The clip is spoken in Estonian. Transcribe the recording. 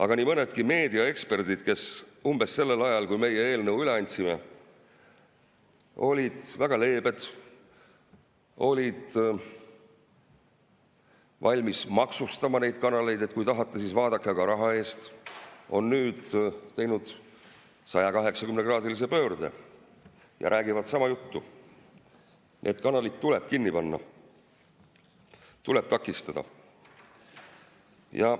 Aga nii mõnedki meediaeksperdid, kes umbes sellel ajal, kui meie eelnõu üle andsime, olid väga leebed, olid valmis maksustama neid kanaleid, et kui tahate, siis vaadake, aga raha eest, on nüüd teinud 180‑kraadise pöörde ja räägivad sama juttu, et need kanalid tuleb kinni panna, neid tuleb takistada.